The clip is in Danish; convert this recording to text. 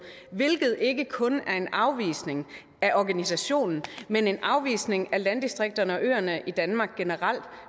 hvilket ikke kun er en afvisning af organisationen men en afvisning af landdistrikterne og øerne i danmark generelt